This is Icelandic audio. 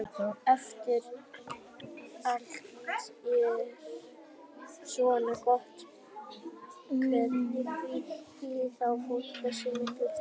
Ef allt er svona gott hérna, því flýr þá fólk þessa miklu dýrð?